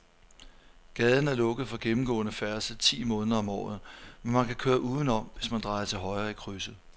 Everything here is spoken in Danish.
Gaden er lukket for gennemgående færdsel ti måneder om året, men man kan køre udenom, hvis man drejer til højre i krydset.